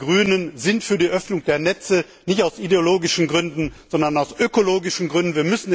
Wir als Grüne sind für die Öffnung der Netze, nicht aus ideologischen Gründen, sondern aus ökologischen Gründen.